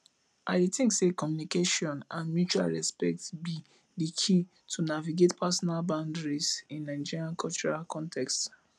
i dey think say communication and mutual respect be di key to navigate personal boundaries in nigerian cultural contexts